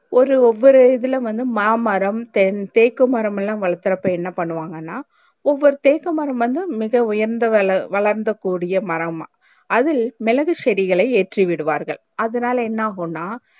ஒரு ஒவ்வொரு இதுல வந்து மா மரம் தெக்குமரம்லா வளத்துருப்ப என்ன பன்னுவாங்கன்னா ஒவ்வொரு தெக்கு மரம் வந்து மிக உயரந்து வள வளர்ந்து கூடிய மரம் அதில் மிளகு செடிகளை ஏற்றிவிடுவார்கள் அதுனாலே என்ன ஆகுன்னா